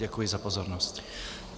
Děkuji za pozornost.